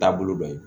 Taabolo dɔ ye